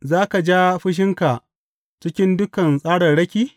Za ka ja fushinka cikin dukan tsararraki?